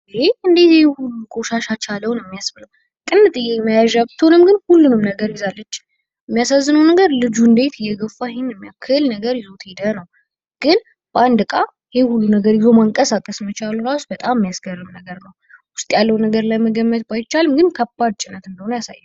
እንዴት ይሄን ሁሉ ቆሻሻ ቻለው ነው የሚያስብለው። ጥንጥዬ መያዣ ብትሆንም ግን ሁሉንም ነገር ይዛለች ።የሚያሳዝነው ነገር ልጁን እንዴት የገፋ ይህን የሚያክል ነገር ይዞት ሄደ ነው? ግን በአንድ እቃ ይሄን ሁሉ ነገር ይዞ መንቀሳቀስ መቻል ራሱ በጣም የሚያስገርም ነገር ነው። ውስጥ ያለው ነገር ለመገመት ባይቻልም ግን ከባድ ጭነት እንደሆነ ያሳያል።